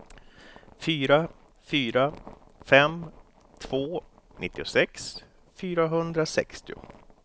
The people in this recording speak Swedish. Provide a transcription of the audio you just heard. fyra fyra fem två nittiosex fyrahundrasextio